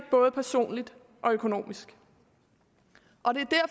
både personligt og økonomisk